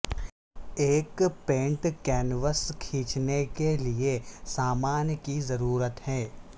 ایک paint canvas کھینچنے کے لئے سامان کی ضرورت ہے